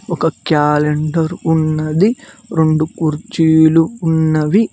ఒక క్యాలెండర్ ఉన్నది రెండు కుర్చీలు ఉన్నవి.